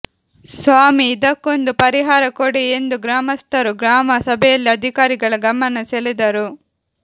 ಸ್ವಾಮಿ ಇದಕ್ಕೊಂದು ಪರಿಹಾರ ಕೊಡಿ ಎಂದು ಗ್ರಾಮಸ್ಥರು ಗ್ರಾಮ ಸಭೆಯಲ್ಲಿ ಅಧಿಕಾರಿಗಳ ಗಮನ ಸೆಳೆದರು